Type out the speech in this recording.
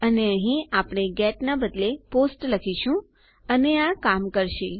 અને અહીં આપણે ગેટ ના બદલે પોસ્ટ લખીશું અને આ કામ કરશે